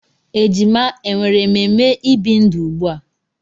Ejima e nwere ememe ibi ndụ ugbu a?